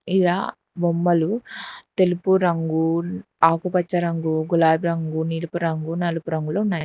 ఇలా బొమ్మలు తెలుపు రంగు ఆకుపచ్చ రంగు గులాబి రంగు నిలపు రంగు నలుపు రంగులో ఉన్నా--